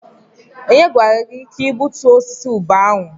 Onye gwara gị ka gbutuo osisi ube ahụ?